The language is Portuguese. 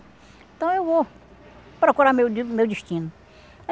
Então, eu vou procurar meu de meu destino.